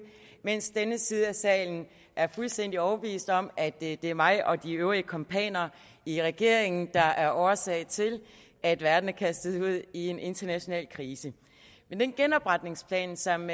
mens den venstre side af salen er fuldstændig overbevist om at det er mig og de øvrige kumpaner i regeringen der er årsag til at verden er kastet ud i en international krise men den genopretningsplan som